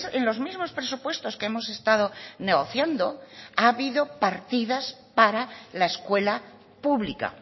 en los mismos presupuestos que hemos estado negociando ha habido partidas para la escuela pública